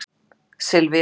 Sylvía